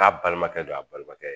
K'a balimakɛ don a balimakɛ ye